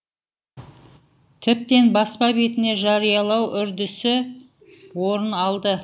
тіптен баспа бетіне жариялау үрдісі орын алды